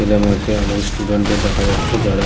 ছেলে মেয়ে কে অনেক স্টুডেন্ট দের দেখা যাচ্ছে যারা--